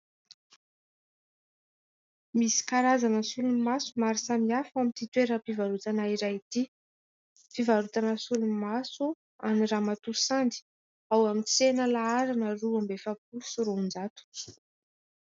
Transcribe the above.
Misy karazana solomaso maro samihafa ao amin'ity toeram-pivarotana iray ity. Fivarotana solomaso an'i ramatoa Sandy, ao amin'ny tsena laharana roa amby efapolo sy roanjato.